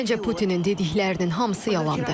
Məncə Putinin dediklərinin hamısı yalandır.